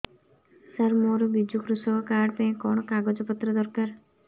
ସାର ମୋର ବିଜୁ କୃଷକ କାର୍ଡ ପାଇଁ କଣ କାଗଜ ପତ୍ର ଦରକାର